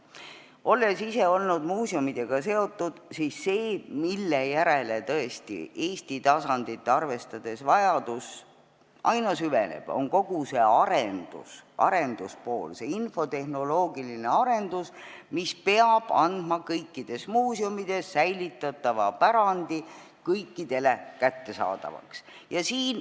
Olles ise olnud muuseumidega seotud, tean, et see, mille järele tõesti Eesti tasandit arvestades vajadus aina süveneb, on kogu see arenduspool, infotehnoloogiline arendus, mis peab muutma kõikides muuseumides säilitatava pärandi kõikidele kättesaadavaks.